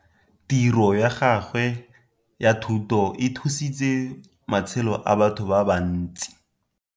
Tiro ya gawe ya thutô e thusitse matshelô a batho ba bantsi.